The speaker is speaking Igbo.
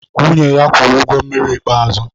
Nwunye ya kwụrụ ụgwọ mmiri ikpeazụ